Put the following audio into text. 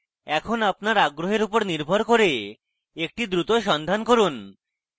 এখন আপনার আগ্রহের উপর নির্ভর করে একটি দ্রুত সন্ধান করুন